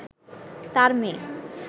তার মেয়ে